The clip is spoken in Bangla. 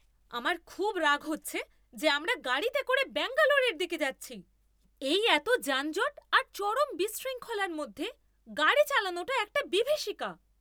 আমার খুব রাগ হচ্ছে যে আমরা গাড়িতে করে ব্যাঙ্গালোরের দিকে যাচ্ছি। এই এতো যানজট আর চরম বিশৃঙ্খলার মধ্যে গাড়ি চালানোটা একটা বিভীষিকা!